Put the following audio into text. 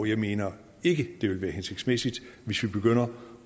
jeg mener ikke det ville være hensigtsmæssigt hvis vi begynder